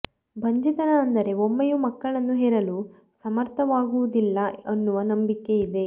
ಬಂಜೆತನ ಅಂದರೆ ಒಮ್ಮೆಯೂ ಮಕ್ಕಳನ್ನು ಹೆರಲು ಸಮರ್ಥವಾಗುವುದಿಲ್ಲ ಅನ್ನುವ ನಂಬಿಕೆ ಇದೆ